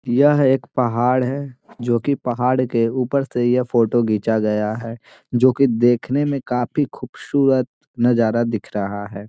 यह एक पहाड़ है जो कि पहाड़ के ऊपर से यह फोटो खींचा गया है जो कि देखने में काफी खूबसूरत नजारा दिख रहा है।